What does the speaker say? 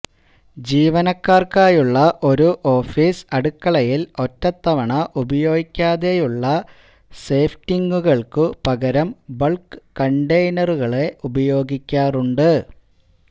ജീവനക്കാർക്കായുള്ള ഒരു ഓഫീസ് അടുക്കളയിൽ ഒറ്റത്തവണ ഉപയോഗിക്കാതെയുള്ള സേഫ്റ്റിംഗുകൾക്കു പകരം ബൾക് കണ്ടെയ്നറുകളെ ഉപയോഗിക്കാറുണ്ട്